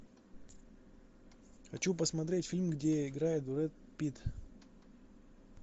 хочу посмотреть фильм где играет брэд питт